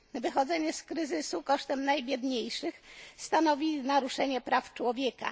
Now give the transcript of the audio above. Wychodzenie z kryzysu kosztem najbiedniejszych stanowi naruszenie praw człowieka.